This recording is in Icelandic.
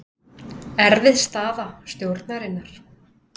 Erfið staða stjórnarinnar